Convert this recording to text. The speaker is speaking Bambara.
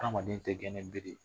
Adamaden tɛ gɛn ni bere ye.